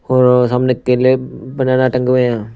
और सामने केले बनाना टंगे हैं।